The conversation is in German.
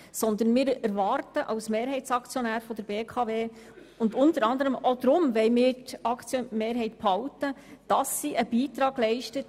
Vielmehr erwarten wir als Mehrheitsaktionär der BKW, dass sie einen Beitrag an die energiepolitischen Ziele des Kantons leistet.